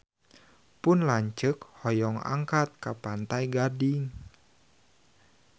Pun lanceuk hoyong angkat ka Pantai Gading